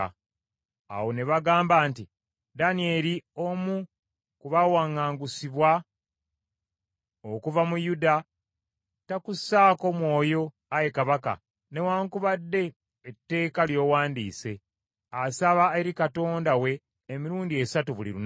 Awo ne bagamba nti, “Danyeri omu ku baawaŋŋangusibwa okuva mu Yuda, takussaako mwoyo, ayi kabaka, newaakubadde etteeka ly’owandiise. Asaba eri Katonda we emirundi esatu buli lunaku.”